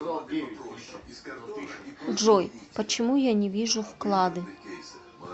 джой почему я не вижу вклады